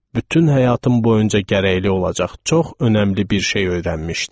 Bütün həyatım boyunca gərəkli olacaq çox önəmli bir şey öyrənmişdim.